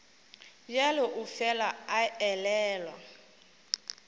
bjalo o fela a elelwa